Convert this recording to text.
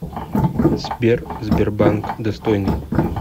сбер сбербанк достойный